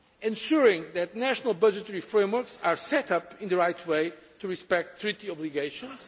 ensuring that national budgetary frameworks are set up in the right way to respect treaty obligations